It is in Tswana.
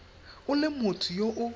o le motho yo o